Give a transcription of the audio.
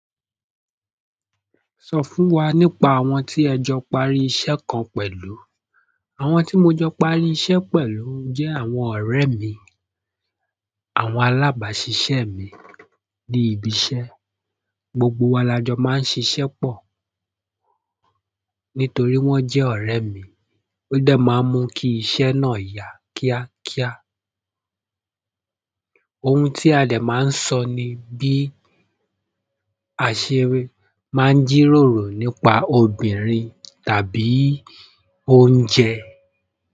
Sọ fún wa nípa àwọn ti ẹjọ parí iṣẹ́ kan pẹ̀lú àwọn tí mo jọ parí iṣẹ́ pẹ̀lú jẹ́ àwọn ọ̀rẹ́ mi, àwọn alábàṣiṣẹ́ mi ní ibi iṣẹ́. Gbogbo wa la jọ máa ń ṣiṣẹ́ pọ̀. Nítorí wọ́n jẹ́ ọ̀rẹ́ mi, ó dẹ̀ máa ń mú kí iṣẹ́ náà yá kíákíá. Ohun tí a dẹ̀ máa ń sọ ni bí àṣírí máa ń jíròrò nípa obìnrin tàbí oúnjẹ.